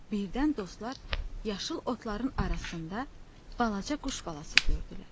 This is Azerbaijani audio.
Birdən dostlar yaşıl otların arasında balaca quş balası gördülər.